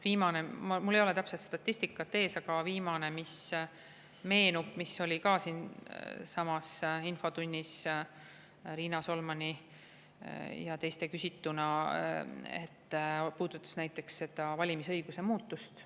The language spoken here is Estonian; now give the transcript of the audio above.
Viimane – mul ei ole täpset statistikat ees –, aga viimane, mis meenub ja mille kohta ka siinsamas infotunnis Riina Solman ja teised küsisid, puudutas seda valimisõiguse muutmist.